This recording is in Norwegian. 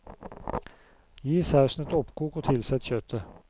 Gi sausen et oppkok og tilsett kjøttet.